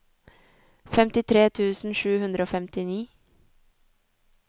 femtitre tusen sju hundre og femtini